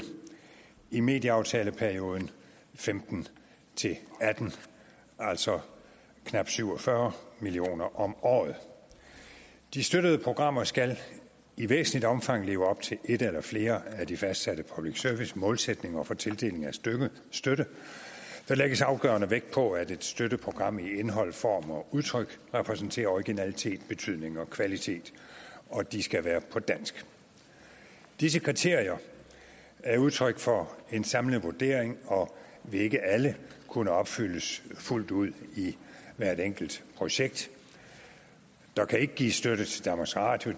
i medieaftaleperioden og femten til atten altså knap syv og fyrre million kroner om året de støttede programmer skal i væsentligt omfang leve op til en eller flere af de fastsatte public service målsætninger for tildeling af støtte der lægges afgørende vægt på at et støttet program i indhold form og udtryk repræsenterer originalitet betydning og kvalitet og de skal være på dansk disse kriterier er udtryk for en samlet vurdering og vil ikke alle kunne opfyldes fuldt ud i hvert enkelt projekt der kan ikke gives støtte til danmarks radio